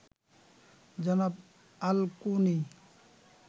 জনাব আল-কোনি